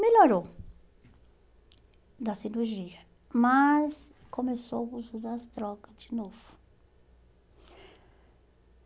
Melhorou da cirurgia, mas começou a usar as drogas de novo.